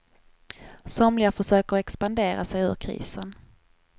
Somliga försöker expandera sig ur krisen.